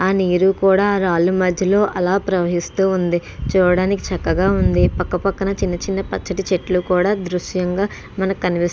ఆ నీరు కూడా రాళ్ల మధ్యలో ప్రవహిస్తూ ఉంది. చూడడానికి చక్కగా ఉంది. పక్క పక్కన చిన్న చిన్న పచ్చటి చెట్లు కూడా దృశ్యంగా మన కనిపిస్ --